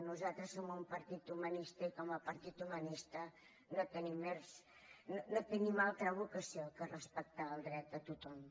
nosaltres som un partit humanista i com a partit humanista no tenim altra vocació que respectar el dret de tothom